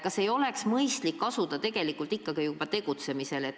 Kas ei oleks mõistlik asuda juba tegutsema?